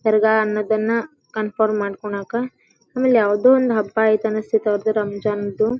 ದರ್ಗಾ ಅನ್ನೋದನ್ನ ಕನ್ಫರ್ಮ್ ಮಾಡಕೊನಕ ಆಮೇಲೆ ಯಾವದೋ ಒಂದ್ ಹಬ್ಬಐತಿ ಅನ್ನಸತೈತಿ ಅವ್ರದು ರಂಜಾನ್ ದು-- .